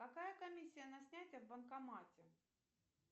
какая комиссия на снятие в банкомате